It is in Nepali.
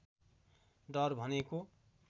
डर भनेको